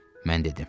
Mən dedim.